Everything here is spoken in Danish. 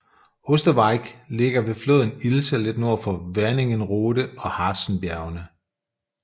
Osterwieck ligger ved floden Ilse lidt nord for Wernigerode og Harzenbjergene